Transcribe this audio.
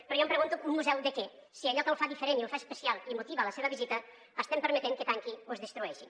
però jo em pregunto un museu de què si allò que el fa diferent i el fa especial i motiva la seva visita estem permetent que tanqui o es destrueixi